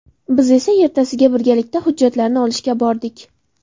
Biz esa ertasiga birgalikda hujjatlarni olishga bordik.